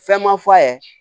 Fɛn ma f'a ye